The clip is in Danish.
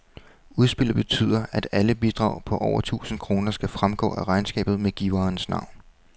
Udspillet betyder, at alle bidrag på over tusind kroner skal fremgå af regnskabet med giverens navn.